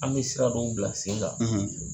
An k'o siradɔw bila sen kan.